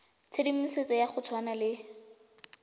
tshedimosetso ya go tshwana le